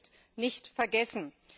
Das ist nicht vergessen.